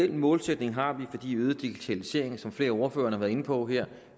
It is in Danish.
den målsætning har vi fordi øget digitalisering som flere ordførere har været inde på her